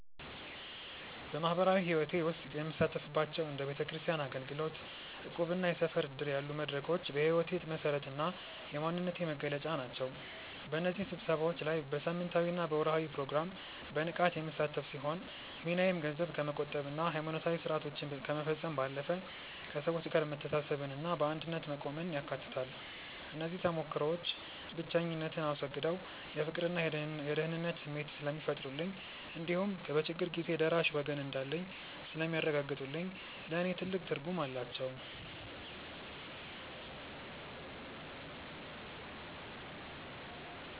በማኅበራዊ ሕይወቴ ውስጥ የምሳተፍባቸው እንደ ቤተክርስቲያን አገልግሎት፣ እቁብና የሰፈር ዕድር ያሉ መድረኮች የሕይወቴ መሠረትና የማንነቴ መገለጫ ናቸው። በእነዚህ ስብሰባዎች ላይ በሳምንታዊና በወርኃዊ ፕሮግራም በንቃት የምሳተፍ ሲሆን፣ ሚናዬም ገንዘብ ከመቆጠብና ሃይማኖታዊ ሥርዓቶችን ከመፈጸም ባለፈ፣ ከሰዎች ጋር መተሳሰብንና በአንድነት መቆምን ያካትታል። እነዚህ ተሞክሮዎች ብቸኝነትን አስወግደው የፍቅርና የደህንነት ስሜት ስለሚፈጥሩልኝ እንዲሁም በችግር ጊዜ ደራሽ ወገን እንዳለኝ ስለሚያረጋግጡልኝ ለእኔ ትልቅ ትርጉም አላቸው።